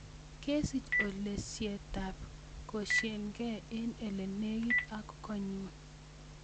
Kesich olisietab koshieken elenegit ak konyun